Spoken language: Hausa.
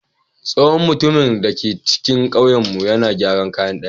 Tsohon mutumin da ke cikin ƙauyenmu yana gyaran kayan ɗaki.